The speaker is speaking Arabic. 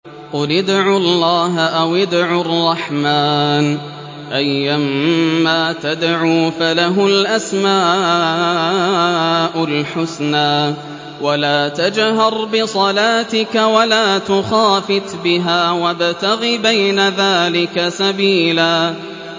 قُلِ ادْعُوا اللَّهَ أَوِ ادْعُوا الرَّحْمَٰنَ ۖ أَيًّا مَّا تَدْعُوا فَلَهُ الْأَسْمَاءُ الْحُسْنَىٰ ۚ وَلَا تَجْهَرْ بِصَلَاتِكَ وَلَا تُخَافِتْ بِهَا وَابْتَغِ بَيْنَ ذَٰلِكَ سَبِيلًا